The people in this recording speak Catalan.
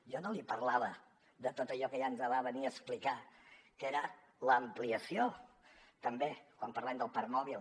jo no li parlava de tot allò que ja ens va venir a explicar que era l’ampliació també quan parlem del parc mòbil